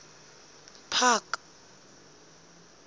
park